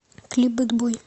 клип бэд бой